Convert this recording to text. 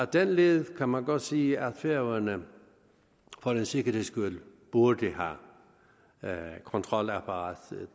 den led kan man godt sige at færøerne for en sikkerheds skyld burde have kontrolapparatet